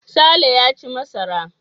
Sale ya ci masara.